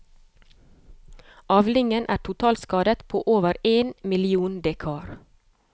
Avlingen er totalskadet på over én million dekar.